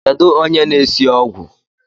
Kedu onye na-esi ogwụ?